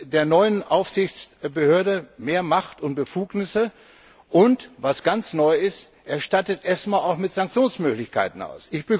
Er gibt der neuen Aufsichtsbehörde mehr Macht und Befugnisse, und was ganz neu ist er stattet ESMA auch mit Sanktionsmöglichkeiten aus.